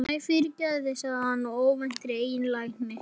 Æ, fyrirgefðu sagði hann af óvæntri einlægni.